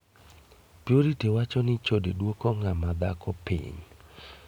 Purity wacho ni chode duok ng'ama dhako piny.